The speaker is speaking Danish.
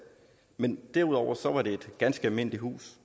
men derudover var det et ganske almindeligt hus